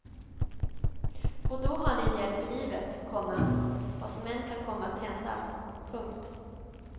Och då har ni en hjälp i livet, komma vad som än kan komma att hända. punkt